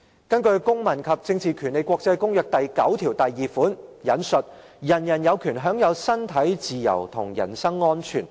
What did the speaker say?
根據《公民權利和政治權利國際公約》第九條第一項："人人有權享有身體自由及人身安全。